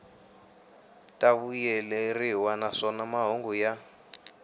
ta vuyeleriwa naswona mahungu ya